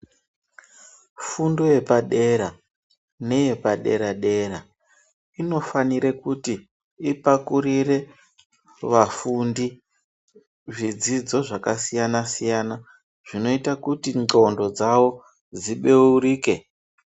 Fundo yepa dera neyepadera dera inofanira kuti ipakurire vafundi zvidzidzo zvakasiyana siyana zvinoita kuti ngqondo dzawo dzibeurike.